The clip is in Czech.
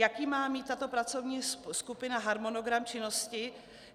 Jaký má mít tato pracovní skupina harmonogram činnosti?